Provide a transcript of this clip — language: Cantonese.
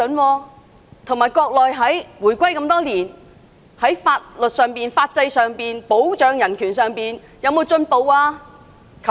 再者，香港回歸多年，國內在法律、法制和保障人權方面有進步嗎？